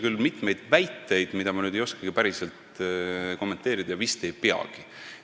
Seal oli küll mitmeid väiteid, mida ma ei oskagi päriselt kommenteerida ja vist ei peagi.